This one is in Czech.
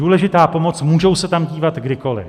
Důležitá pomoc, můžou se tam dívat kdykoliv.